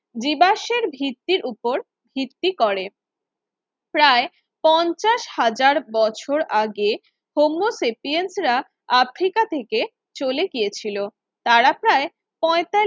জীবাশ্মের ভিত্তির উপর ভিত্তি করে প্রায় পঞ্চাশ হাজার বছর আগে হৌম সেপিয়েন্সেরা আফ্রিকা থেকে চলে গিয়েছিল তারা প্রায় প্রয়তা